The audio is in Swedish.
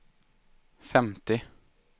femtio